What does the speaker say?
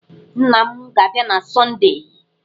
Nna m ga-abịa na Sọndee.